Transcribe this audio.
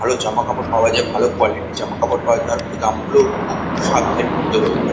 ভালো জামাকাপড় ভাল কোয়ালিটি র জামাকাপড় পাওয়া যায় আর দাম গুলো ও খুব সাধ্যের মধ্যে হয়ে থাকে।